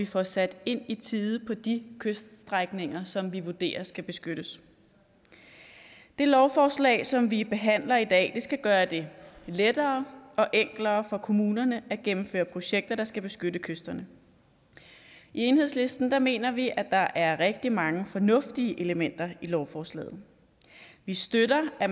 får sat ind i tide på de kyststrækninger som vi vurderer skal beskyttes det lovforslag som vi behandler i dag skal gøre det lettere og enklere for kommunerne at gennemføre projekter der skal beskytte kysterne i enhedslisten mener vi at der er rigtig mange fornuftige elementer i lovforslaget vi støtter at